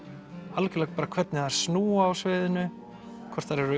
algjörlega hvernig þeir snúa á sviðinu hvort þeir eru